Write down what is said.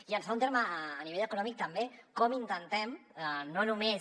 i en segon terme a nivell econòmic també com intentem no només